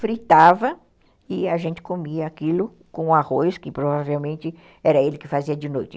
fritava e a gente comia aquilo com arroz, que provavelmente era ele que fazia de noite.